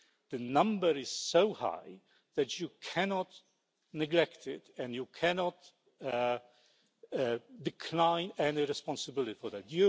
The number is so high that you cannot neglect it and you cannot decline any responsibility for that.